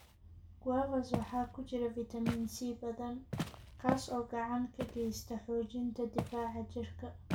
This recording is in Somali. Guavas waxaa ku jira fiitamiin C badan, kaas oo gacan ka geysta xoojinta difaaca jirka.